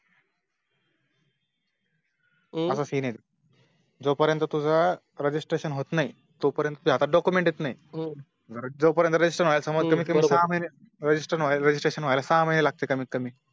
हम्म असा Scene आहे ते जो पर्यंत तुझा Registration होत नाही तो पर्यंत तुझ्या होता Document येत नाही जो पर्यंत Regisrtation व्य्याला Registration व्हायला सहा महिने लागतात कमीत कमी